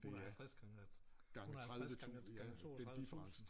150 gange 150 gange 32 tusinde